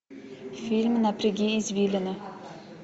фильм напряги извилины